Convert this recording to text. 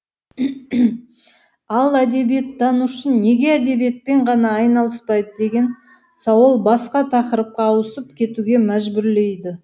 ал әдебиеттанушы неге әдебиетпен ғана айналыспайды деген сауал басқа тақырыпқа ауысып кетуге мәжбүрлейді